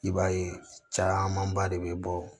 I b'a ye camanba de bɛ bɔ